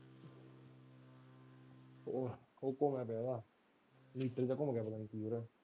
ਉਹ .